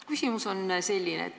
Küsimus on selline.